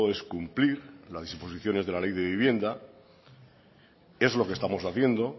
es cumplir las disposiciones de la ley de vivienda es lo que estamos haciendo